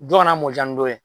Dɔ ka na mɔ ja ni dɔ ye.